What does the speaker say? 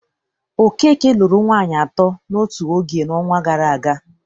Okeke lụru nwaanyị atọ n'otu oge n'ọnwa gara aga.